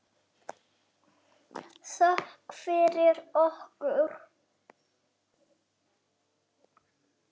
Þökk fyrir okkur.